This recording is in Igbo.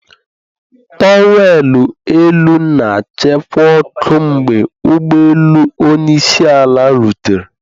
Towerlọ elu na-achịkwa ọkụ mgbe ụgbọelu onye isi ala rutere.